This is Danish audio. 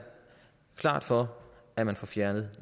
klart for at man får fjernet